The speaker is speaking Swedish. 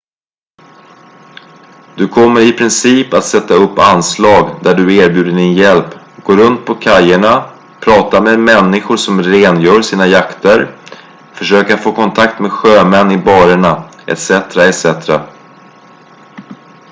du kommer i princip att sätta upp anslag där du erbjuder din hjälp gå runt på kajerna prata med människor som rengör sina yachter försöka få kontakt med sjömän i baren etcetera